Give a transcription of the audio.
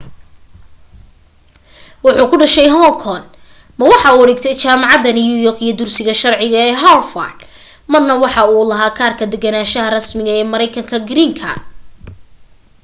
waxuu ku dhashay hong kong ma waxa uu dhigtay jaamacada new york iyo dugsiga sharciga ee harvard marna waxa uu lahaa kaarka degganaasha rasmiga ee mareykanka green card